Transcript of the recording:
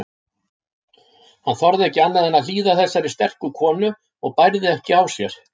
Hann þorði ekki annað en hlýða þessari sterku konu og bærði ekki á sér.